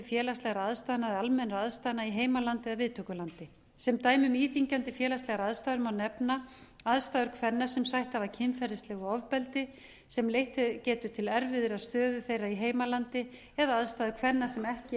félagslegra aðstæðna eða almennra aðstæðna í heimalandi eða viðtökulandi sem dæmi um íþyngjandi félagslegar aðstæður má nefna aðstæður kvenna sem sætt hafa kynferðislegu ofbeldi sem leitt geti til erfiðrar stöðu þeirra í heimalandi eða aðstöðu kvenna sem ekki